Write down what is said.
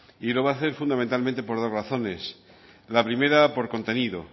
y lo va a hacer fundamentalmente por dos razones la primera por contenido